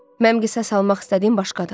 Mən qisas almaq istədiyim başqa adamdır.